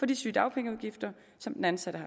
de sygedagpenge som den ansatte